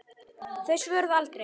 Þau svöruðu aldrei.